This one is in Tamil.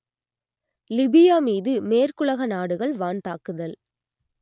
லிபியா மீது மேற்குலக நாடுகள் வான் தாக்குதல்